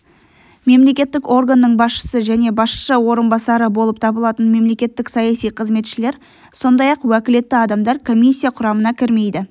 мемлекеттік органның басшысы және басшы орынбасары болып табылатын мемлекеттік саяси қызметшілер сондай-ақ уәкілетті адамдар комиссия құрамына кірмейді